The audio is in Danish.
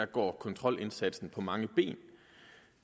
går kontrolindsatsen på mange ben